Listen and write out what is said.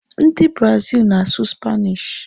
Ndị Brazil na-asụ Spanish.